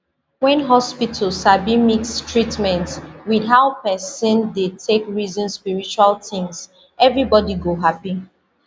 when hospital sabi mix treatment with how person dey take reason spiritual things everybody go happy